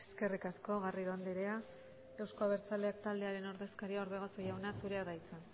eskerrik asko garrido andrea euzko abertzaleak taldearen ordezkaria orbegozo jauna zurea da hitza